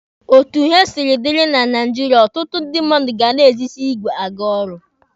Otu ihe siri dịrị na Naijiria, ọtụtụ ndị mmadụ ga na-ejizi igwe aga ọrụ.